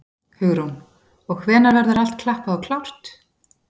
Hugrún: Og hvenær verður allt klappað og klárt?